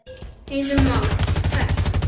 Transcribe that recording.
Heimir Már: Hvert?